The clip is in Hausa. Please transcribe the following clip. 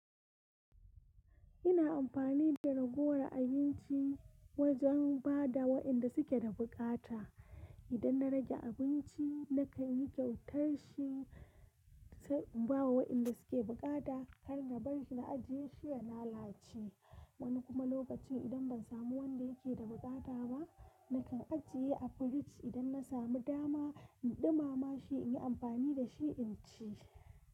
Ina amfani da ragowar abinci wajen ba da wa'inda suke da bukata. Idan na rage abinci na kan yi kyautar shi, sai in ba wa wa'inda suke bukata. Kar na bar shi na ajiye shi ya lalace. Wani kuma lokacin idan ban samu wanda yake da bukata ba, na kan ajiye a firij. Idan na samu dama, in ɗumama shi in yi amfani da shi in ci.